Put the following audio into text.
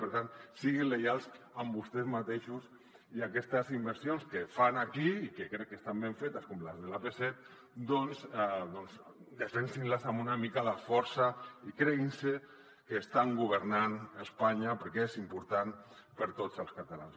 per tant siguin lleials amb vostès mateixos i aquestes inversions que fan aquí i que crec que estan ben fetes com les de l’ap set doncs defensin les amb una mica de força i creguin se que estan governant a espanya perquè és important per a tots els catalans